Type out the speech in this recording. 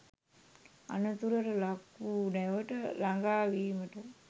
අනතුරට ලක් වූ නැවට ලඟා වීමට